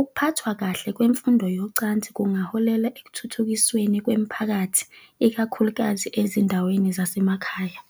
Ukuphathwa kahle kwemfundo yocansi kungaholela ekuthuthukisweni kwemiphakathi, ikakhulukazi ezindaweni zasemakhaya.